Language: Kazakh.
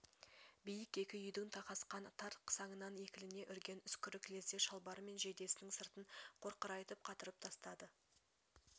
биік екі үйдің тақасқан тар қысаңынан екілене үрген үскірік лезде шалбары мен жейдесінің сыртын қоқырайтып қатырып тастады